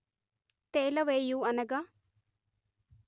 తేలవేయు అనగా